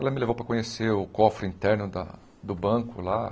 Ela me levou para conhecer o cofre interno da do banco lá.